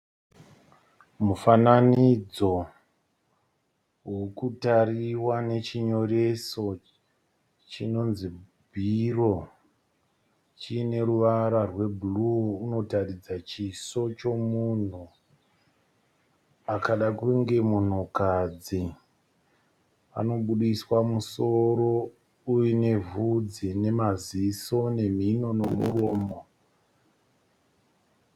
Mufananidzo urikutariwa nechinyoreso chinonzi bhiro chineruvara rwebhuruu. Unotaridza chiso chemunhu akada kunge munhukadzi. Anoburitswa musoro uine vhudzi nemaziso nemhino nemuromo.